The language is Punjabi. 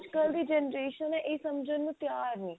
ਅੱਜ ਕੱਲ ਦੀ ਜਿਹੜੀ generation ਇਹ ਸਮਝਣ ਨੂੰ ਤਿਆਰ ਨਹੀ